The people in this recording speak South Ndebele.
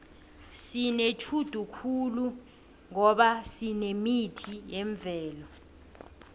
sinetjhudu khulu ngoba sinemithi yemvelo